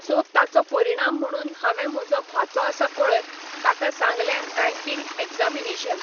so ताचो परिणाम म्हणून हांवें म्हजो भाचो आसा पळय, ताका सांगलें बँकींग एग्जॅमिनेशन